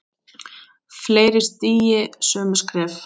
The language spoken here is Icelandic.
Fleiri stígi sömu skref?